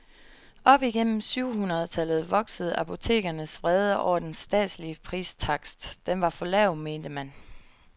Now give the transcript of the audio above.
Op igennem syv hundrede tallet voksede apotekernes vrede over den statslige pristakst, den var for lav, mente man.